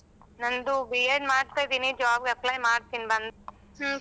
ನಂದು B.Ed ಮಾಡ್ತಿದೀನಿ job apply ಮಾಡ್ತೀನಿ ಬಂದ್.